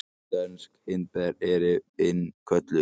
Dönsk hindber innkölluð